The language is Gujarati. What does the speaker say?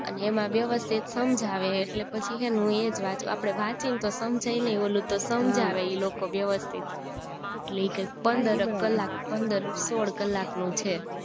અને એમાં વ્યવસ્થિત હમ્જાવે એટલે પછી હેને હું એજ વાચું આપડે વહીયે ને તો હમજાય નય ઓલું તો સમજાવે ઈ લોકો વ્યવસ્થિત લે ઈ કયક પંદર ક કલાક પંદર સોળ કલાક નું છે